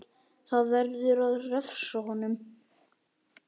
Það verður að refsa honum!